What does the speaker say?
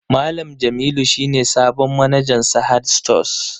Malam Jamilu shi ne sabon manajan Sahad stores